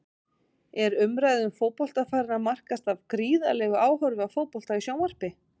Er umræða um fótbolta farin að markast af gríðarlegu áhorfi á fótbolta í sjónvarpi?